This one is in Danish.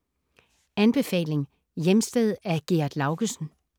Anbefaling: Hjemsted af Gerd Laugesen